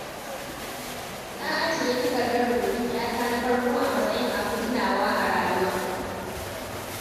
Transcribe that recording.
Na ajiye takardar rubutun 'yata na farko a matsayin abin tunawa a rayuwa.